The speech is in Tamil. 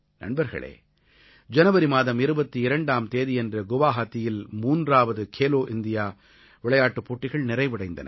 நண்பர்களே ஜனவரி மாதம் 22ஆம் தேதியன்று குவாஹாத்தியில் மூன்றாவது கேலோ இண்டியா விளையாட்டுப் போட்டிகள் நிறைவடைந்தன